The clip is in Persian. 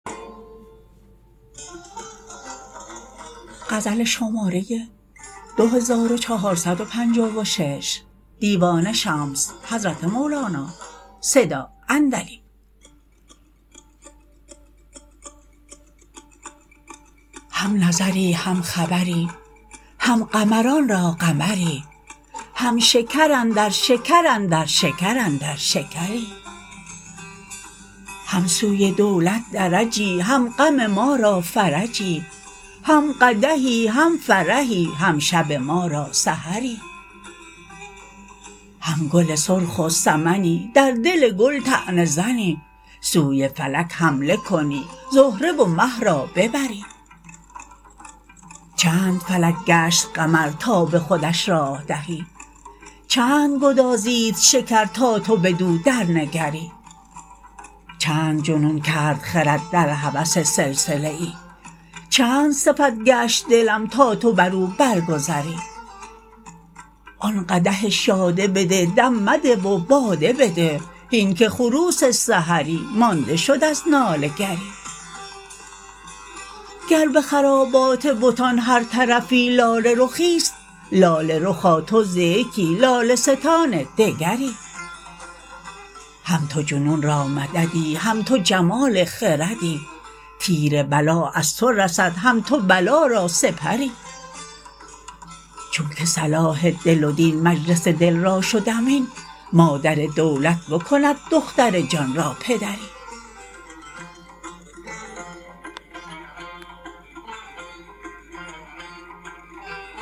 هم نظری هم خبری هم قمران را قمری هم شکر اندر شکر اندر شکر اندر شکری هم سوی دولت درجی هم غم ما را فرجی هم قدحی هم فرحی هم شب ما را سحری هم گل سرخ و سمنی در دل گل طعنه زنی سوی فلک حمله کنی زهره و مه را ببری چند فلک گشت قمر تا به خودش راه دهی چند گدازید شکر تا تو بدو درنگری چند جنون کرد خرد در هوس سلسله ای چند صفت گشت دلم تا تو بر او برگذری آن قدح شاده بده دم مده و باده بده هین که خروس سحری مانده شد از ناله گری گر به خرابات بتان هر طرفی لاله رخی است لاله رخا تو ز یکی لاله ستان دگری هم تو جنون را مددی هم تو جمال خردی تیر بلا از تو رسد هم تو بلا را سپری چونک صلاح دل و دین مجلس دل را شد امین مادر دولت بکند دختر جان را پدری